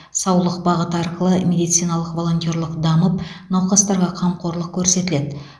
саулық бағыты арқылы медициналық волонтерлық дамып науқастарға қамқорлық көрсетіледі